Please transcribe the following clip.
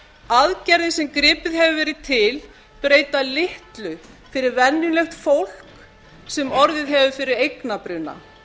aðgerðir sem gripið hefur verið til breyta litlu fyrir venjulegt fólk sem orðið hefur fyrir eignabruna